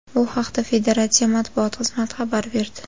Bu haqda federatsiya matbuot xizmati xabar berdi .